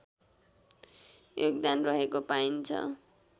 योगदान रहेको पाइन्छ